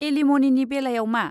एलिम'निनि बेलायाव मा?